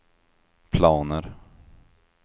planer